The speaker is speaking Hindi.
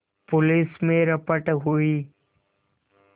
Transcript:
पुलिस में रपट हुई